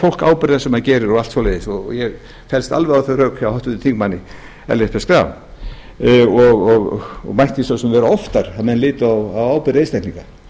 fólk ábyrgðina sem gerir og allt svoleiðis og ég fellst alveg á þau rök hjá háttvirtum þingmanni ellert b schram og mætti svo sem vera oftar að menn litu á ábyrgð einstaklinga